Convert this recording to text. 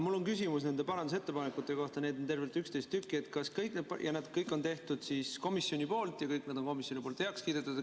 Mul on küsimus nende parandusettepanekute kohta, neid on tervelt 11 tükki, need kõik on teinud komisjon ja kõik need on komisjoni poolt heaks kiidetud.